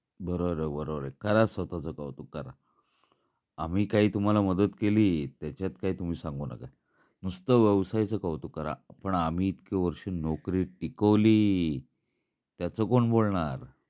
बरोबर आहे, बरोबर आहे. करा स्वतःचा कौतुक करा. आम्ही काय तुम्हाला मदत केली त्याच्यात काही तुम्ही सांगू नका नुसत व्यवसायच कौतुक करा. पण आम्ही इतकी वर्षे नोकरी टिकवली त्याच कोण बोलणार